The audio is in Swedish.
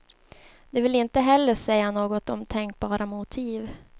De vill inte heller säga något om tänkbara motiv.